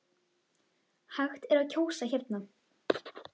Hægt er að kjósa hérna.